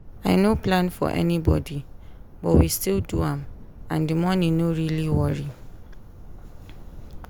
i no plan for anybody but we still do am and the money no really worry.